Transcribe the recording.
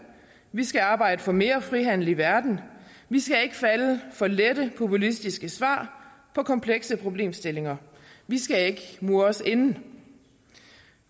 vi skal arbejde for mere frihandel i verden vi skal ikke falde for lette populistiske svar på komplekse problemstillinger vi skal ikke mure os inde